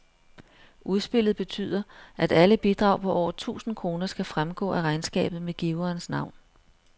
Udspillet betyder, at alle bidrag på over tusind kroner skal fremgå af regnskabet med giverens navn.